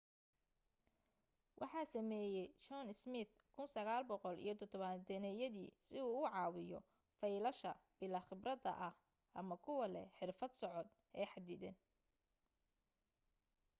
waxa sameeyay john smith 1970yadii si uu u caawiyo faylasha bilaa khibradda ah ama kuwa leh xirfad socod ee xaddidan